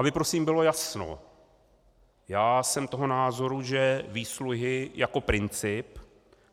Aby prosím bylo jasno, já jsem toho názoru, že výsluhy jako princip